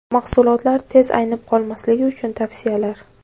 Mahsulotlar tez aynib qolmasligi uchun tavsiyalar.